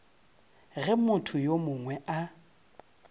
ge motho yo mongwe a